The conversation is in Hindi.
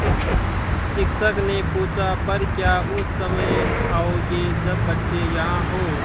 शिक्षक ने पूछा पर क्या उस समय आओगे जब बच्चे यहाँ हों